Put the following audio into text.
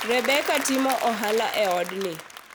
Rebecca timo ohala e odni